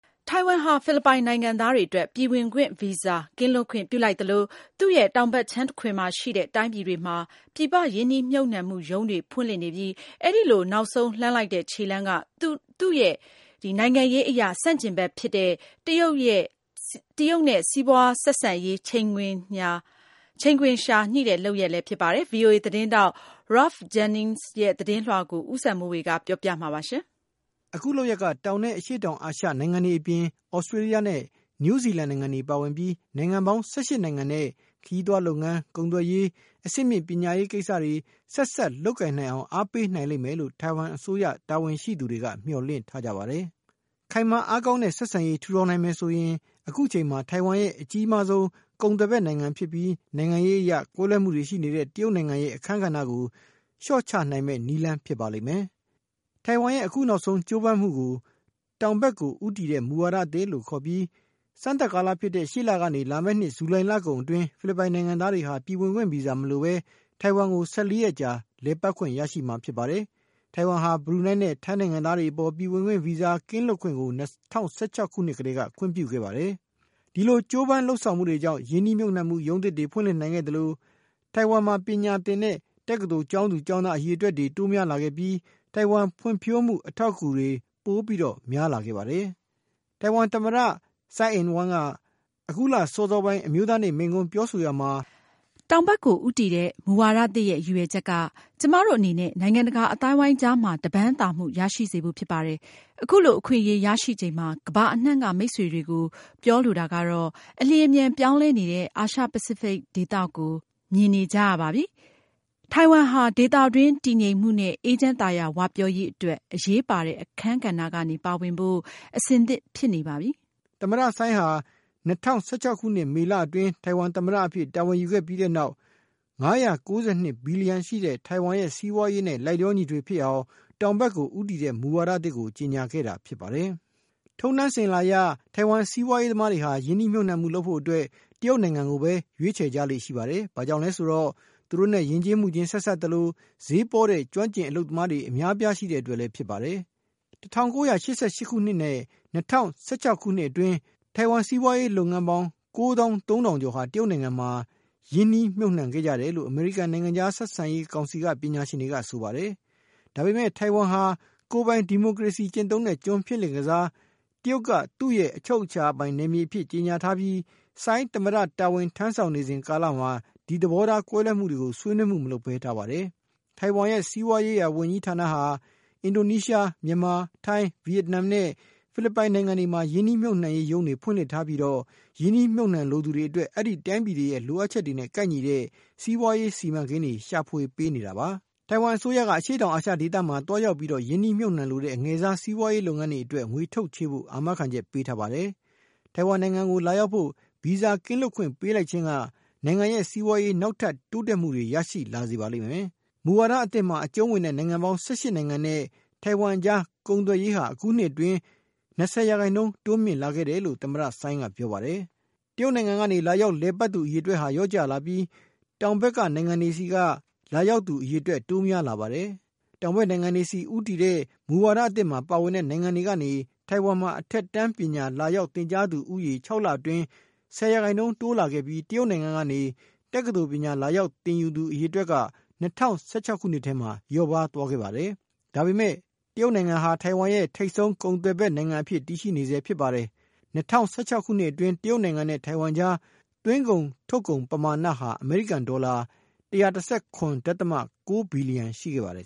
ထိုင်ဝမ်ဟာ ဖိလစ်ပိုင်နိုင်ငံသားတွေအတွက် ပြည်ဝင်ခွင့်ဗီဇာ ကင်းလွတ်ခွင့် ပြုလိုက်သလို သူ့ရဲ့တောင်ဘက်ခြမ်းမှာတခွင်မှာရှိတဲ့ တိုင်းပြည်တွေမှာ ပြည်ပ ရင်းနှီး မြှုပ်နှံမှု ရုံးတွေဖွင့်လှစ်နေပြီး အဲဒီလို နောက်ဆုံးလှမ်းလိုက်တဲ့ ခြေလှမ်းက သူနဲ့ နိုင်ငံရေးအရ ဆန့်ကျင်ဘက်ဖြစ်တဲ့ တရုတ်နိုင်ငံနဲ့ စီးပွားဆက်ဆံရေး ချိန်ခွင်လျှာ ညှိတဲ့ လုပ်ရပ်ဖြစ်ပါတယ်။ VOA သတင်းထောက် Ralph Jennings ရဲ့ သတင်းလွှာကို ဦးစံမိုေ၀ က ပြောပြ ပါလိမ့်မယ်။ အခုကြိုးပမ်းချက်က တောင်နဲ့ အရှေ့တောင်အာရှနိုင်ငံတွေအပြင် သြစတေးလျှနဲ့ နယူးဇီလန် နိုင်ငံတွေအပါအဝင် နိုင်ငံပေါင်း ၁၈ နိုင်ငံနဲ့ ခရီးသွားလုပ်ငန်း၊ ကုန်သွယ်ရေး၊ အဆင့်မြင့် ပညာရေးကိစ္စတွေ ဆက်စပ် လုပ်ကိုင်နိုင်အောင် အားပေးနိုင်လိမ့်မယ်လို့ ထိုင်ဝမ် အစိုးရ တာဝန်ရှိသူတွေက မျှော်လင့်ထားကြပါတယ်။ ခိုင်မာအားကောင်းတဲ့ ဆက်ဆံရေး ထူထောင်နိုင်မယ်ဆိုရင် အခုအချိန်မှာ ထိုင်ဝမ်ရဲ့ အကြီးမားဆုံး ကုန်သွယ်ဖက်နိုင်ငံဖြစ်ပြီး နိုင်ငံရေးအရ ကွဲလွဲမှုတွေရှိနေတဲ့ တရုတ်နိုင်ငံရဲ့ အခန်းကဏ္ဍကို လျှော့ချနိုင်မယ့် နည်းလမ်းဖြစ်ပါလိမ့်မယ်။ ထိုင်ဝမ်ရဲ့ အခုနောက်ဆုံး ကြိုးပမ်းမှုကို တောင်ဖက်ကိုဦးတည်တဲ့ မူဝါဒသစ်လို့ ခေါ်ပြီး စမ်းသတ်ကာလဖြစ်တဲ့ ရှေ့လကနေ လာမယ့်နှစ် ဇူလိုင်လကုန် အတွင်း ဖိလစ်ပိုင်နိုင်ငံသားတွေဟာ ပြည်ဝင်ခွင့် ဗီဇာမလိုပဲ ထိုင်ဝမ်ကို ၁၄ ရက်ကြာ လည်ပတ်ခွင့်ရရှိမှာ ဖြစ်ပါတယ်။ ထိုင်ဝမ်ဟာ ဘရုနိုင်းနဲ့ ထိုင်းနိုင်ငံသားတွေအပေါ်ပြည်ဝင်ခွင့် ဗီဇာကင်းလွတ်ခွင့်ကို ၂၀၁၆ ခုနှစ်ကတည်းက ခွင့်ပြုခဲ့ပါတယ်။ ဒီလိုကြိုးပမ်းလုပ်ဆောင်မှုတွေကြောင့် ရင်းနှီး မြှုပ်နှံမှု ရုံးသစ်တွေ ဖွင့်လှစ်နိုင်ခဲ့သလို၊ ထိုင်ဝမ်မှပညာသင်တဲ့ တက္ကသိုလ်ကျောင်းသူ ကျောင်းသားအရေတွက်တိုးများလာခဲ့ပြီး ထိုင်ဝမ်ဖွံ့ဖြိုးမှု အထောက်အကူတွေ ပိုများလာခဲ့ပါတယ်။ ထိုင်ဝမ် သမ္မတ ဆိုင်းအင်ဝမ်က အခုလစောစာပိုင်း အမျိုးသားနေ့ မိန့်ခွန်းပြောဆိုရာမှာ "တောင်ဖက်ကို ဦးတည်တဲ့ မူဝါဒသစ်ရဲ့ ရည်ရွယ်ချက် က ကျမတို့အနေနဲ့ နိုင်ငံတကာအသိုင်းအဝိုင်းကြားမှာ တပမ်းသာမှု ရရှိစေဖို့ ဖြစ်ပါတယ်။ အခုလိုအခွင့်အရေး ရရှိချိန်မှာ ကမ္ဘာအနှံ့က မိတ်ဆွေတွေကို ပြောလိုတာကတော့ အလျှင်အမြန်ပြောင်းလဲနေတဲ့ အာရှပစိဖိတ် ဒေသကို ရင်ဆိုင်ကြုံတွေ့နေကြရပါပြီ။ ထိုင်ဝမ်ဟာ ဒေသတွင်း တည်ငြိမ်မှုနဲ့ အေးချမ်းသာယာ ဝပြောရေးအတွက် အရေးပါတဲ့ အခန်းကဏ္ဍကနေ ပါဝင်ဖို့ အဆင်သင့် ဖြစ်နေပါပြီ " လို့ ပြောခဲ့ပါတယ်။ ဆိုင်း ဟာ ၂၀၁၆ ခုနှစ် မေလ အတွင်း ထိုင်ဝမ်သမ္မတ တာဝန်ယူခဲ့ပြီးတဲ့နောက် ၅၉၂ ဘီလီယံ ရှိတဲ့ ထိုင်ဝမ်ရဲ့ စီးပွားရေးနဲ့ လိုက်လျှော ညီထွေဖြစ်အောင် တောင်ဖက်ကို ဦးတည်တဲ့ မူဝါဒသစ် ကိုကြေညာ ခဲ့တာဖြစ်ပါတယ်။ ထုံးတမ်းအစဉ်အလာအရ ထိုင်ဝမ်စီးပွားရေးသမားတွေဟာ ရင်းနှီး မြှုပ်နှံမှုလုပ်ဖို့အတွက် တရုတ်နိုင်ငံကိုပဲရွေးချယ် ကြလေ့ရှိပါတယ်။ ဘာကြောင့်လဲဆိုတော့ သူတို့နဲ့ ယဉ်ကျေးမှုချင်း ဆက်စပ်သလို ဈေးပေါတဲ့ ကျွမ်းကျင် အလုပ်သမားတွေအများအပြားရှိတဲ့အတွက် ဖြစ်ပါတယ်။ ၁၉၈၈ ခုနဲ့ ၂၀၁၆ နှစ်တွေအတွင်း ထိုင်ဝမ်စီးပွားရေး လုပ်ငန်းပေါင်း ၉ သောင်း ၃ ထောင်ကျော်ဟာ တရုတ်နိုင်ငံမှာ ရင်းနှီး မြှုပ်နှံ ခဲ့ကြတယ်လို့ အမေရိကန် နိုင်ငံခြားဆက်ဆံရေး ကောင်စီ က ပညာရှင်တွေက ဆိုပါတယ်။ ဒါပေမဲ့ ထိုင်ဝမ်ဟာ ကိုပိုင်ဒီမိုကရေစီ ကျင့်သုံးတဲ့ ကျွန်းဖြစ်လင့်ကစား တရုတ်ကသူ့ရဲ့ အချုပ်ချာပိုင် နယ်မြေအဖြစ်ကြေညာထားပြီး ဆိုင်း သမ္မတတာဝန်ထမ်းဆောင်နေစဉ်ကာလမှာ ဒီသဘောထားကွဲလွဲမှုတွေကို ဆွေးနွေးမှုမလုပ်ပဲထားပါတယ်။ ထိုင်ဝမ်ရဲ့ စီးပွားရေးရာ ဝန်ကြီးဌာနဟာ အင်ဒိုနီးရှား၊ မြန်မာ၊ ထိုင်း၊ ဗီယက်နမ်နဲ့ ဖိလစ်ပိုင် နိုင်ငံတွေမှာ ရင်းနှီး မြှုပ်နှံရေးရုံးတွေ ဖွင့်လှစ်ထားပြီး ရင်းနှီး မြှုပ်နှံလိုသူတွေအတွက် အဲဒီတိုင်းပြည်တွေရဲ့ လိုအပ်ချက်တွေနဲ့ ကိုက်ညီတဲ့ စီးပွားရေး စီမံကိန်းတွေ ရှာဖွေပေးနေတာပါ။ ထိုင်ဝမ်အစိုးရက အရှေ့တောင်အာရှဒေသမှာ သွားရောက် ရင်းနှီး မြှုပ်နှံလိုတဲ့ အငယ်စား စီးပွားရေးလုပ်ငန်းတွေအတွက် ငွေထုတ်ချေးပေးဖို့ အာမခံချက် ပေးထားပါတယ်။ ထိုင်ဝမ်နိုင်ငံကို လာရောက်ဖို့ ဗီဇာကင်လွတ်ခွင့်ပေးလိုက်ခြင်းက နိုင်ငံရဲ့ စီးပွားရေး နောက်ထပ် တိုးတက် မှုတွေ ရရှိလာစေပါလိမ့်မယ်။ မူဝါဒသစ်မှာ အကြုံးဝင်တဲ့ နိုင်ငံပေါင်း ၁၈ နိုင်ငံနဲ့ ထိုင်ဝမ်အကြား ကုန်သွယ်ရေးဟာ အခုနှစ်အတွင်း ၂၀% တိုးမြင့်လာခဲ့တယ်လို့ သမ္မတဆိုင်း ကပြောပါတယ်။ တရုတ်နိုင်ငံကနေ လာရောက်လည်ပတ်သူ အရေတွက်က လျှော့ကျသွားပြီး တောင်ဖက်နိုင်ငံ တွေကလာရောက်သူအရေတွက် တိုးများလာပါတယ်။ တောင်ဖက်နိုင်ငံတွေဆီ ဦးတည်တဲ့ မူဝါဒအသစ်မှာ ပါဝင်တဲ့နိုင်ငံတွေကနေ ထိုင်ဝမ်မှာ အထက်တန်း ပညာလာရောက် သင်ကြားသူဦးရေ ၆ လအတွင်း ၁၀% တိုးလာခဲ့ပြီး တရုတ်နိုင်ငံကနေ တက္ကသိုလ်ပညာ လာရောက်သင်သူ အရေအတွက်က ၂၀၁၆ ခုနှစ်ထဲမှာ လျှော့ပါးသွားခဲ့ပါတယ်။ ဒါပေမဲ့ တရုတ်နိုင်ငံဟာ ထိုင်ဝမ်ရဲ့ ထိပ်ဆုံး ကုန်သွယ်ဘက်နိုင်ငံ အဖြစ် တည်ရှိနေဆဲဖြစ်ပါတယ်။ ၂၀၁၆ ခုနှစ်အတွင်း တရုတ်နိုင်ငံနဲ့ ထိုင်ဝမ်အကြား သွင်းကုန်ထုတ်ကုန် ပမာဏဟာ အမေရိကန်ဒေါ်လာ ၁၁၇.၉ ဘီလီယံ ရှိခဲ့ပါတယ်